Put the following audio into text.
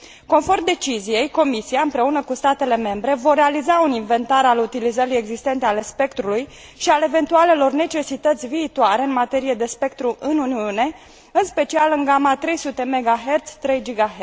Conform deciziei, Comisia împreună cu statele membre vor realiza un inventar al utilizărilor existente ale spectrului și al eventualelor necesități viitoare în materie de spectru în Uniune, în special în gama 300 MHz 3 GHz.